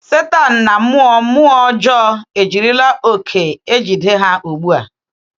Sátán na mmụọ mmụọ ọjọọ ejirila oke ejide ha ugbu a.